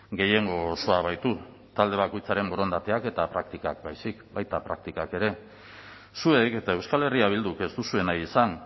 gehiengo osoa baitu talde bakoitzaren borondateak eta praktikak baizik baita praktikak ere zuek eta euskal herria bilduk ez duzue nahi izan